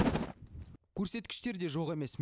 көрсеткіштер де жоқ емес